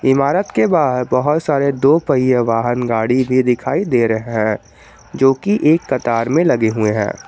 इमारत के बाहर बहोत सारे दो पहिया वाहन गाड़ी भी दिखाई दे रहे हैं जोकि एक कतार में लगे हुए हैं।